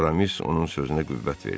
Aramis onun sözünə qüvvət verdi.